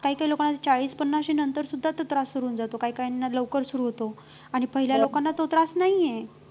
काही काही लोकांना चाळीस पन्नासी नंतर सुद्धा तो त्रास सुरु होऊन जातो काही काहींना लवकर सुरु होतो आणि पहिल्या लोकांना तो त्रास नाही आहे